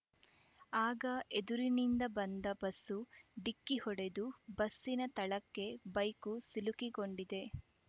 ಆಗ ಎದುರಿನಿಂದ ಬಂದ ಬಸ್ಸು ಡಿಕ್ಕಿ ಹೊಡೆದು ಬಸ್ಸಿನ ತಳಕ್ಕೆ ಬೈಕ್‌ ಸಿಲುಕಿಕೊಂಡಿದೆ